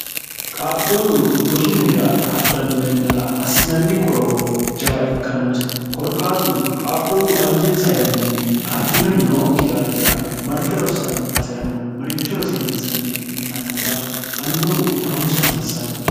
qaaqquullu rosu minira hadhanno yannara assinanni qorowo jawa ikka noose korkaatuno qaaquullu anjensa yannanni affinori nookki daafira marte rossanno base'rano maricho rosiinsanni yitannota annubu harunsa hasiissanno